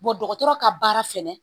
dɔgɔtɔrɔ ka baara fɛnɛ